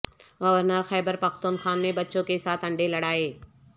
governor Khyber Pakhtunkhwa نے بچوں کیساتھ انڈے لڑائے